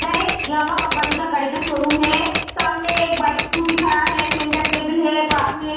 इधर एक Yamaha company का गाड़ी का शोरूम है। सामने एक बाइक स्कूटी खड़ा है। सेंटर टेबल है। पास में एक --